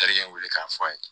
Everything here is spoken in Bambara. Terikɛ wele k'a fɔ a ye